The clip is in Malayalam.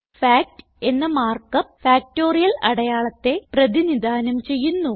ഫാക്ട് എന്ന മാർക്ക് അപ്പ് ഫാക്ടറിയൽ അടയാളത്തെ പ്രതിനിധാനം ചെയ്യുന്നു